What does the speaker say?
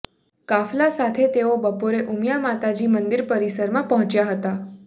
કાફલા સાથે તેઓ બપોરે ઊમિયા માતાજી મંદિર પરિસરમાં પહોંચ્યા હતા